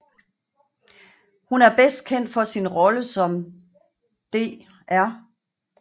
Hun er bedst kendt for sin rolle som dr